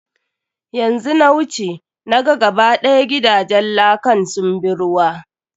Yanzu na wuce, na ga ga ba ɗaya gidajen lakan sun bi ruwa.